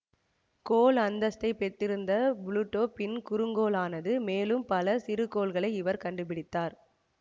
கோள் அந்தஸ்தை பெற்றிருந்த ப்ளுடோ பின்பு குறுங்கோள் ஆனது மேலும் பல சிறுகோள்களை இவர் கண்டுப்பிடித்தார்